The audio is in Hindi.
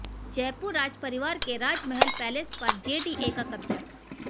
जयपुर राजपरिवार के राजमहल पैलेस पर जेडीए का कब्जा